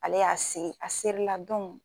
Ale y'a se a serila dɔn